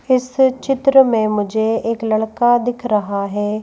इस चित्र में मुझे एक लड़का दिख रहा है।